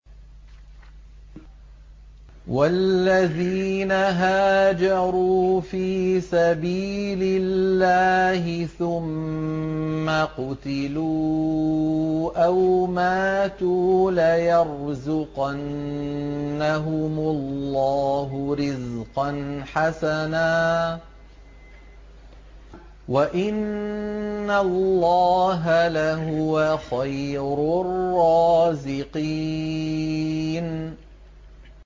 وَالَّذِينَ هَاجَرُوا فِي سَبِيلِ اللَّهِ ثُمَّ قُتِلُوا أَوْ مَاتُوا لَيَرْزُقَنَّهُمُ اللَّهُ رِزْقًا حَسَنًا ۚ وَإِنَّ اللَّهَ لَهُوَ خَيْرُ الرَّازِقِينَ